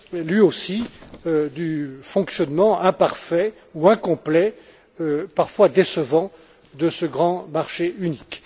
lui aussi, du fonctionnement imparfait ou incomplet, parfois décevant, de ce grand marché unique.